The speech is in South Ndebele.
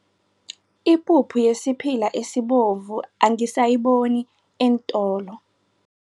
Ipuphu yesiphila esibovu angisayiboni eentolo.